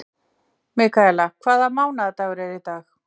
Mikaela, hvaða mánaðardagur er í dag?